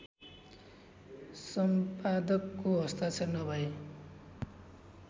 सम्पादकको हस्ताक्षर नभए